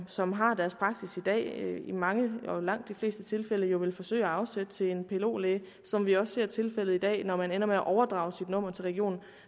som har deres praksis i dag i mange og langt de fleste tilfælde jo vil forsøge at afsætte til en plo læge som vi også ser det er tilfældet i dag når man ender med at overdrage sit nummer til regionen